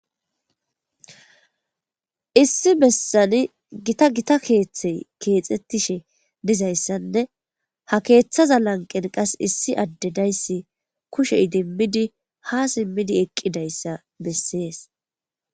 Issi bessani gita gita keeththey keexxettishe dizayssanne ha keeththaza lanqen qas issi addedayssi kushey dimmidi ha simmidi eqqidayssa bessees.